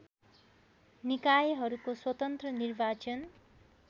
निकायहरूको स्वतन्त्र निर्वाचन